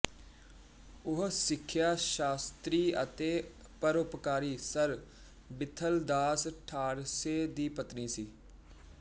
ਉਹ ਸਿੱਖਿਆ ਸ਼ਾਸਤਰੀ ਅਤੇ ਪਰਉਪਕਾਰੀ ਸਰ ਵਿਥਲਦਾਸ ਠਾਕਰਸੇ ਦੀ ਪਤਨੀ ਸੀ